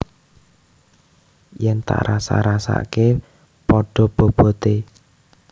Yen tak rasak rasakke pada bobote